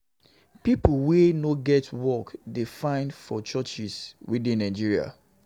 People wey no get work dey find for churches wey dey Nigeria